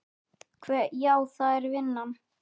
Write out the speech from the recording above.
Hve. já, það er vinnan.